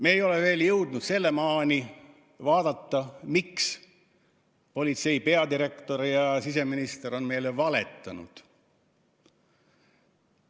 Me ei ole veel jõudnud sinnamaani, et vaadata, miks politsei peadirektor ja siseminister on meile valetanud.